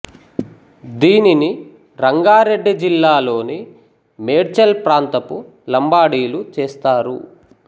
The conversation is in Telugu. దీనిని రంగా రెడ్డి జిల్లాలోని మేడ్చల్ ప్రాంతపు లంబాడీలు చేస్తారు